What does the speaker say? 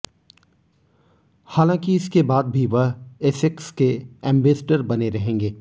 हालांकि इसके बाद भी वह एसेक्स के एंबेस्डर बने रहेंगे